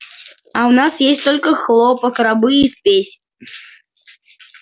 а у нас есть только хлопок рабы и спесь